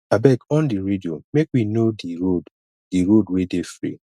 abeg on di radio make we know di road di road wey dey free